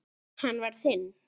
Hann var þinn.